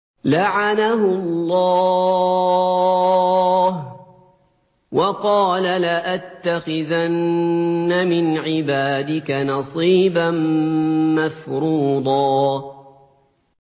لَّعَنَهُ اللَّهُ ۘ وَقَالَ لَأَتَّخِذَنَّ مِنْ عِبَادِكَ نَصِيبًا مَّفْرُوضًا